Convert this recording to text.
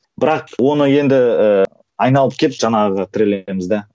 бірақ оны енді ііі айналып келіп жаңағыға тірелеміз де